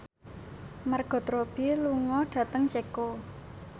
Margot Robbie lunga dhateng Ceko